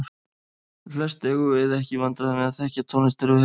Flest eigum við ekki í vandræðum með að þekkja tónlist þegar við heyrum hana.